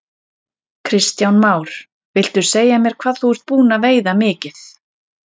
Kristján Már: Viltu segja mér hvað þú ert búinn að veiða mikið?